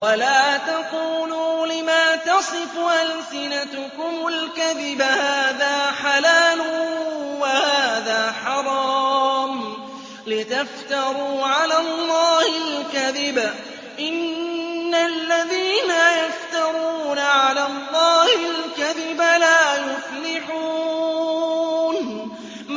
وَلَا تَقُولُوا لِمَا تَصِفُ أَلْسِنَتُكُمُ الْكَذِبَ هَٰذَا حَلَالٌ وَهَٰذَا حَرَامٌ لِّتَفْتَرُوا عَلَى اللَّهِ الْكَذِبَ ۚ إِنَّ الَّذِينَ يَفْتَرُونَ عَلَى اللَّهِ الْكَذِبَ لَا يُفْلِحُونَ